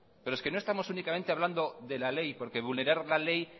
pero es que no estamos únicamente hablando de la ley porque vulnerar la ley